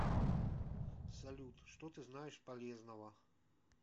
салют что ты знаешь полезного